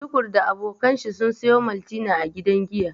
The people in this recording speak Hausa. Tukur da abokan shi sun sayo maltina a gidan giya.